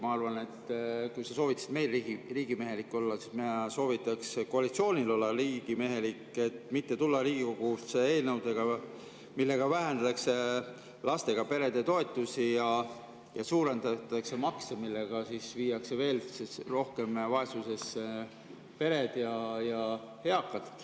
Ma arvan, et kui sa soovitasid meil riigimehelik olla, siis mina soovitaks koalitsioonil olla riigimehelik ja mitte tulla Riigikogusse eelnõudega, millega vähendatakse lastega perede toetusi ja suurendatakse makse, millega viiakse veel rohkem vaesusesse pered ja eakad.